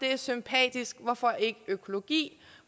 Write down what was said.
er sympatisk hvorfor ikke økologi